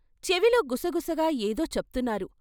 చెవిలో గుసగుసగా ఏదో చెప్తున్నారు.